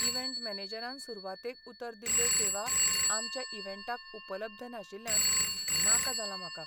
Event मॅनेजरान सुरवातेक उतर दिल्ल्यो सेवा आमच्या इव्हेंटाक उपलब्ध नाशिल्ल्यान नाका जालां म्हाका.